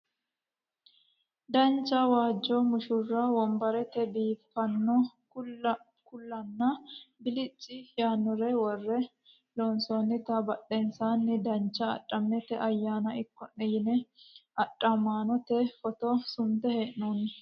Dancha waajjo mushurru wonbare biifanno kuulanna bilicci yaannore worre loonsoonnita badheseenni dancha adhamate ayyaana ikko'ne yine adhamaanote footo sunte hee'noonni